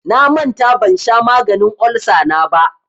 Na manta ban sha maganin olsa na ba.